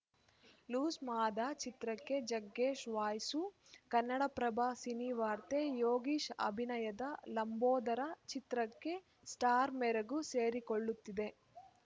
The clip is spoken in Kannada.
ಲೂಸ್‌ ಮಾದ ಚಿತ್ರಕ್ಕೆ ಜಗ್ಗೇಶ್‌ ವಾಯಸು ಕನ್ನಡಪ್ರಭ ಸಿನಿವಾರ್ತೆ ಯೋಗೀಶ್‌ ಅಭಿನಯದ ಲಂಬೋದರ ಚಿತ್ರಕ್ಕೆ ಸ್ಟಾರ್‌ ಮೆರುಗು ಸೇರಿಕೊಳ್ಳುತ್ತಿದೆ